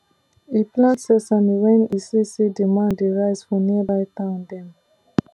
e plant sesame when e see say demand dey rise for nearby town dem